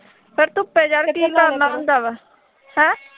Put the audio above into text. ਪਰ ਧੁੱਪੇ ਜਾ ਕੇ ਕੀ ਕਰਨਾ ਹੁੰਦਾ ਵਾ, ਹੈਂ